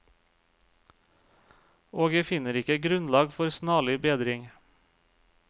Og jeg finner ikke grunnlag for snarlig bedring.